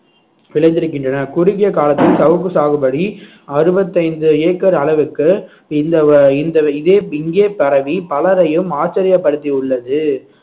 விளைந்திருக்கின்றன குறுகிய காலத்தில் சவுக்கு சாகுபடி அறுபத்தைந்து ஏக்கர் அளவுக்கு இந்த வ~ இந்த இதே இங்கே பரவி பலரையும் ஆச்சரியப்படுத்தி உள்ளது